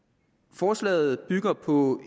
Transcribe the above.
forslaget bygger på